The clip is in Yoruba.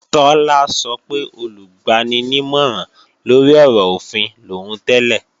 Tọ́lá sọ pé Olùgbaninímọ̀ràn-lórí-ọ̀rọ̀-òfin lòún tẹ́lẹ̀